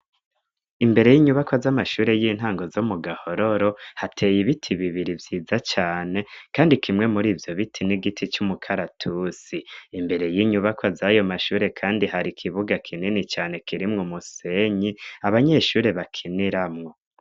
Imbere y'inyubakwa z'amashure y'intango zo mu Gahororo hateye ibiti bibiri vyiza cane kandi kimwe muri ivyo biti n'igiti c'umukaratusi, imbere y'inyubakwa z'ayo mashure kandi hari ikibuga kinini cane kirimwo umusenyi abanyeshure bakiniramwo.